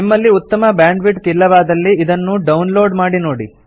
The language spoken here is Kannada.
ನಿಮ್ಮಲ್ಲಿ ಉತ್ತಮ ಬ್ಯಾಂಡ್ವಿಡ್ತ್ ಇಲ್ಲವಾದಲ್ಲಿ ಇದನ್ನು ಡೌನ್ ಲೋಡ್ ಮಾಡಿ ನೋಡಿ